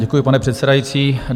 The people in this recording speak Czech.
Děkuji, pane předsedající.